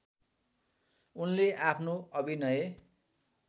उनले आफ्नो अभिनय